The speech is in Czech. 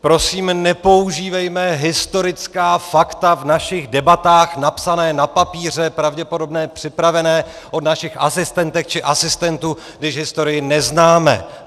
Prosím, nepoužívejme historická fakta v našich debatách napsaná na papíře, pravděpodobně připravená od našich asistentek či asistentů, když historii neznáme!